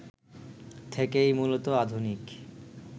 থেকেই মূলত আধুনিক